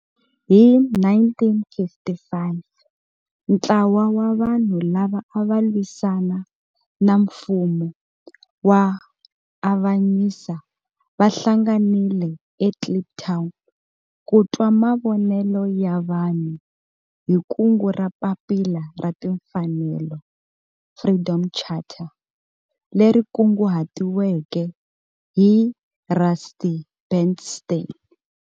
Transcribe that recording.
Hi 1955 ntlawa wa vanhu lava ava lwisana na nfumo wa avanyiso va hlanganile eKliptown ku twa mavonelo ya vanhu hi kungu ra Papila ra Timfanelo, Freedom Charter, leri kunguhatiweke hi Rusty Bernstein.